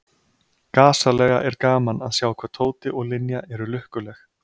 Gasalega er gaman að sjá hvað Tóti og Linja eru lukkuleg.